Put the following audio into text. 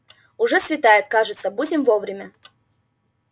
уже светает кажется будем вовремя